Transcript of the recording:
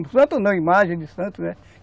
Não Santos não, imagens de Santos, né?